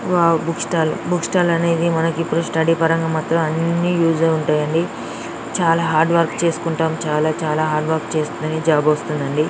Wow book stall book stall అనేది మనకు study పరంగా ఉంటాయి యూస్ అవుతాయి అండి చాలా హార్డ్ వర్క్ చేసుకుంటా చాలా చాలా హార్డ్ వర్క్ చేస్తేనే జాబ్ వస్తది అండి.